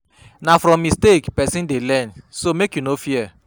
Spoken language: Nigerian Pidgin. Na from mistake pesin dey learn so make you no fear.